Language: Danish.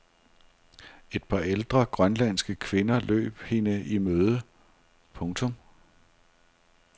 Et par ældre grønlandske kvinder løb hende i møde. punktum